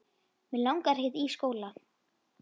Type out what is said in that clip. Mig langar ekkert í skóla.